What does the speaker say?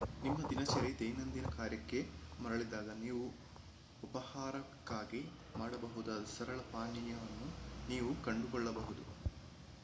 ನಿಮ್ಮ ದಿನಚರಿ ದೈನಂದಿನ ಕಾರ್ಯಕ್ಕೆ ಮರಳಿದಾಗ ನೀವು ಉಪಾಹಾರಕ್ಕಾಗಿ ಮಾಡಬಹುದಾದ ಸರಳ ಪಾನೀಯವನ್ನು ನೀವು ಕಂಡುಕೊಳ್ಳಬಹುದು